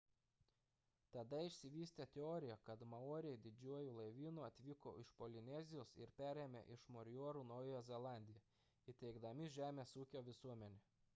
tada išsivystė teorija kad maoriai didžiuoju laivynu atvyko iš polinezijos ir perėmė iš moriorių naująją zelandiją įsteigdami žemės ūkio visuomenę